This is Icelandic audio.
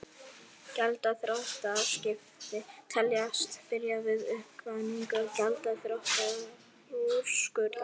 Gjaldþrotaskipti teljast byrja við uppkvaðningu gjaldþrotaúrskurðar.